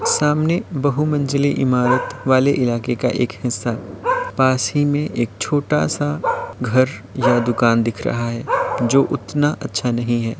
सामने बहू मंजिले इमारत वाले इलाके का एक हिस्सा पास ही में एक घर छोटा सा घर या दुकान दिख रहा है जो उतना अच्छा नहीं है।